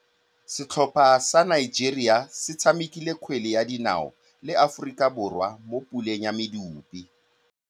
Setlhopha sa Nigeria se tshamekile kgwele ya dinaô le Aforika Borwa mo puleng ya medupe.